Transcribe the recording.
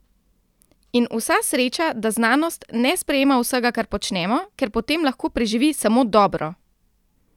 In vsa sreča, da znanost ne sprejema vsega, ker počnemo, ker potem lahko preživi samo dobro!